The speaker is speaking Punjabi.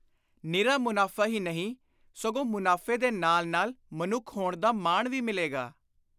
ਨਿਰਾ ਮੁਨਾਫ਼ਾ ਹੀ ਨਹੀਂ ਸਗੋਂ ਮੁਨਾਫ਼ੇ ਦੇ ਨਾਲ ਨਾਲ ਮਨੁੱਖ ਹੋਣ ਦਾ ਮਾਣ ਵੀ ਮਿਲੇਗਾ।